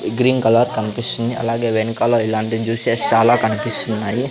Green colour కన్పిస్తుంది అలాగే వెనకాల ఇలాంటి జ్యూసెస్ చాలా కనిపిస్తున్నాయి.